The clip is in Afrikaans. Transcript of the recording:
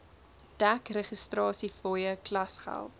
dek registrasiefooie klasgeld